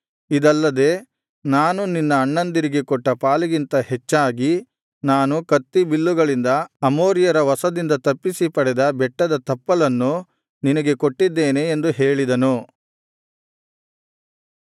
ಇದಲ್ಲದೆ ನಾನು ನಿನ್ನ ಅಣ್ಣಂದಿರಿಗೆ ಕೊಟ್ಟ ಪಾಲಿಗಿಂತ ಹೆಚ್ಚಾಗಿ ನಾನು ಕತ್ತಿ ಬಿಲ್ಲುಗಳಿಂದ ಅಮೋರಿಯರ ವಶದಿಂದ ತಪ್ಪಿಸಿ ಪಡೆದ ಬೆಟ್ಟದ ತಪ್ಪಲನ್ನು ನಿನಗೆ ಕೊಟ್ಟಿದ್ದೇನೆ ಎಂದು ಹೇಳಿದನು